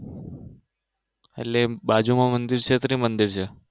એટલે બાજુમાં મંદિર છે એ ત્રિમંદિર છે